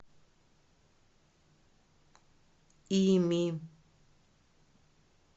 ими